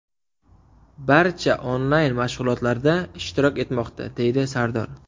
Barcha onlayn mashg‘ulotlarda ishtirok etmoqda”, deydi Sardor.